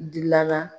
Dilala